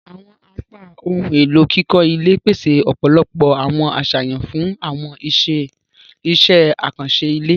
Awọn apá ohùn elo kíkọ ilé pese ọpọlọpọ awọn aṣayan fun awọn iṣẹ akanṣe ilé.